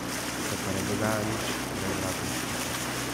Se pa ne dogaja nič prevratniškega.